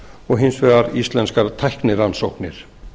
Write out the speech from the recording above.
og hins vegar íslenskar tæknirannsóknir